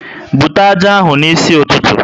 Bute ájá ahụ n'isi ụtụtụ!